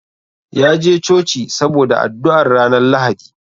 Ya je Coci saboda addu'ar ranar Lahadi.